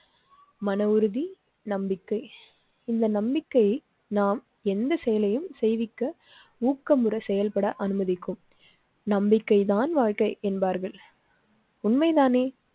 மன உறுதி நம்பிக்கை இந்த நம்பிக்கை நாம் எந்த செயலையும் செய்விக்க ஊக்கமுடன் செயல்பட அனுமதிக்கும் நம்பிக்கை தான் வாழ்க்கை என்பார்கள். உண்மைதானே!